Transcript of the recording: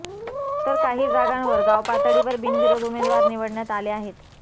तर काही जागांवर गावपातळीवर बिनविरोध उमेदवार निवडण्यात आले आहेत